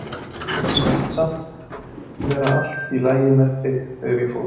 Mér sýndist samt vera allt í lagi með þig þegar ég fór.